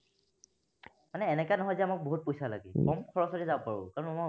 মানে এনেকা নহয় যে মোক বহুত পইচা লাগে, কম খৰচতে যাব পাৰো।